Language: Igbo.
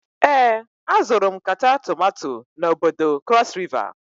Ee, azụrụ m nkata tomato n'bodo cross river.